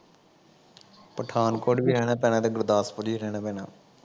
ਪਠਾਨਕੋਟ ਵੀ ਰਹਿਣਾ ਪੈਣਾ ਤੇ ਗੁਰਦਾਸਪੁਰ ਵੀ ਰਹਿਣਾ ਪੈਣਾ